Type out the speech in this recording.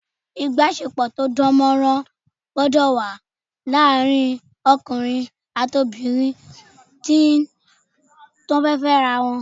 Ìbáṣepọ̀ tó dánmọ́nrán gbọ́dọ̀ wà láàrin ọkùnrin àti obìnrin tí wọ́n fẹ́ Fẹ́ ara wọn